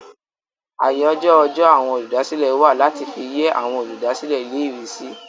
Àyájọ́ ọjọ́ àwọn olùdásílẹ̀ wà láti fi yẹ́ àwọn olùdásílẹ̀ ilé-ìwé sí.